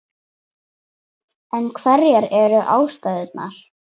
En hverjar eru ástæðurnar?